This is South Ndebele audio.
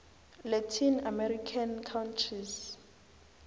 latin american countries